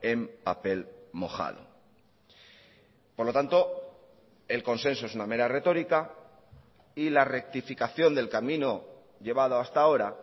en papel mojado por lo tanto el consenso es una mera retórica y la rectificación del camino llevado hasta ahora